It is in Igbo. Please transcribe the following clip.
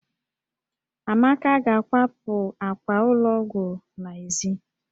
Amaka ga-akwapụ àkwà ụlọ ọgwụ n'èzí